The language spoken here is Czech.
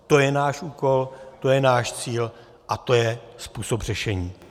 To je náš úkol, to je náš cíl a to je způsob řešení.